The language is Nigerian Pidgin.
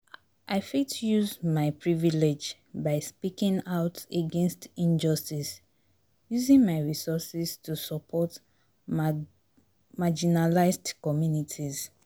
i fit use my privilege by speaking out against injustice, using my resources to support marginalized communities.